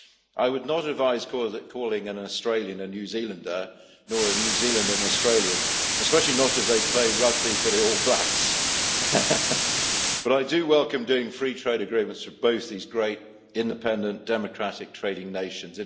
I would not advise calling an Australian a New Zealander, nor a New Zealander an Australian, especially not if they play rugby for the All Blacks, but I do welcome doing free trade agreements with both these great, independent and democratic trading nations.